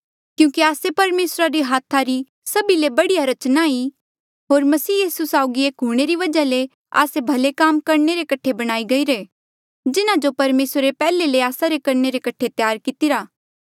क्यूंकि आस्से परमेसरा रे हाथा री सभी ले बढ़िया रचना ई होर मसीह यीसू साउगी एक हूंणे री वजहा ले आस्से भले काम करणे रे कठे बणाये गईरे जिन्हा जो परमेसरे पैहले ले आस्सा रे करणे रे कठे त्यार कितिरा